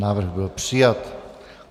Návrh byl přijat.